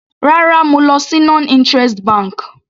Rárá, mo lọ sí non interest bank.